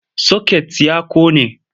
Soket ya ƙone.